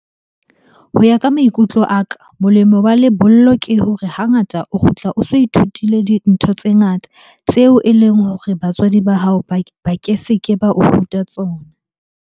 Ho ya ka maikutlo a ka, molemo wa lebollo ke hore hangata o kgutla o so ithutile dintho tse ngata tseo e leng hore batswadi ba hao ba ke se ke ba o ruta tsona.